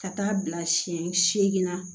Ka taa bila siɲɛ seegin na